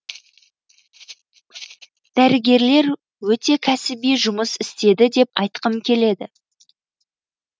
дәрігерлер өте кәсіби жұмыс істеді деп айтқым келеді